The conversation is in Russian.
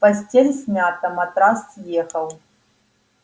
постель смята матрас съехал